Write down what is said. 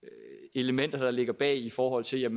elementer der ligger bag i forhold til